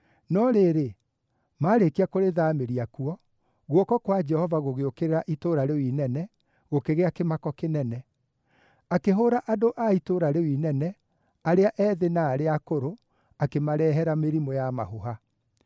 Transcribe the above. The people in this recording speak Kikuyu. No rĩrĩ, maarĩkia kũrĩthaamĩria kuo, guoko kwa Jehova gũgĩũkĩrĩra itũũra rĩu inene, gũkĩgĩa kĩmako kĩnene. Akĩhũũra andũ a itũũra rĩu inene, arĩa ethĩ na arĩa akũrũ, akĩmarehere mĩrimũ ya mahũha.